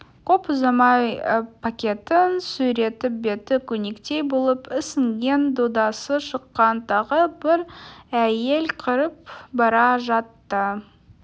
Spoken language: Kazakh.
көп ұзамай пакетін сүйретіп беті көнектей болып ісінген додасы шыққан тағы бір әйел кіріп бара жатты